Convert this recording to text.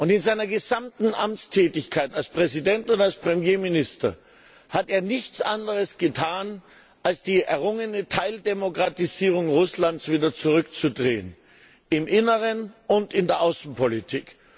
In seiner gesamten Amtstätigkeit als Präsident und als Premierminister hat er nichts anderes getan, als die errungene Teildemokratisierung Russlands wieder zurückzudrehen im Inneren und in der Außenpolitik.